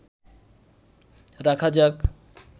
রাখা যাক